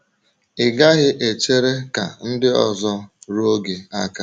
Ị gaghị echere ka ndị ọzọ ruo gị aka.